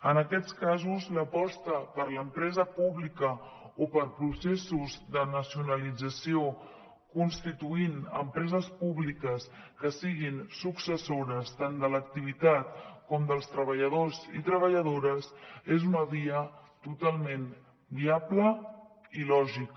en aquests casos l’aposta per l’empresa pública o per processos de nacionalització constituint empreses públiques que siguin successores tant de l’activitat com dels treballadors i treballadores és una via totalment viable i lògica